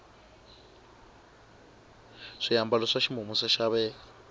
swiambalo swa ximumu swa xaveka